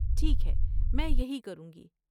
ٹھیک ہے، میں یہی کروں گی۔